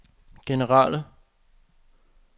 generelle